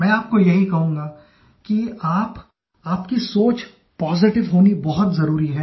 मैं आपको यही कहूँगा कि आप आपकी सोच पॉजिटिव होनी बहुत ज़रूरी है